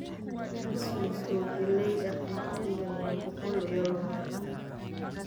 Hal suus oo galley ah wakhtigan waa boqol iyo labaatan